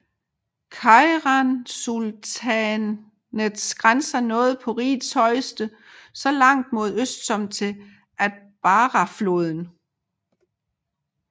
Keirasultanatets grænser nåede på rigets højeste så langt mod øst som til Atbarahfloden